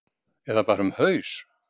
Eða bara um haus?